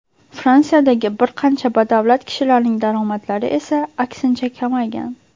Fransiyadagi bir qancha badavlat kishilarning daromadlari esa aksincha kamaygan.